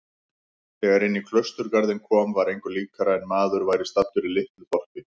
Þegar inní klausturgarðinn kom var engu líkara en maður væri staddur í litlu þorpi.